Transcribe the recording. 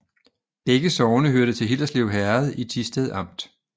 Begge sogne hørte til Hillerslev Herred i Thisted Amt